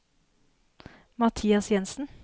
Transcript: Mathias Jensen